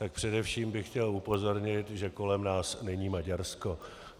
Tak především bych chtěl upozornit, že kolem nás není Maďarsko.